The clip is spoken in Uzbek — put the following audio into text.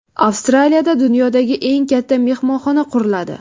Avstraliyada dunyodagi eng katta mehmonxona quriladi.